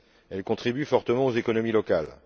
Elle contribue fortement aux économies locales.